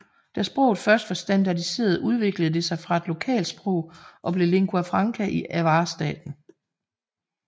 Da sproget først var standardiseret udviklede det sig fra et lokalsprog og blev lingua franca i Avar staten